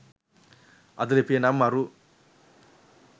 අද ලිපිය නම් මරු